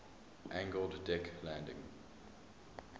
angled deck landing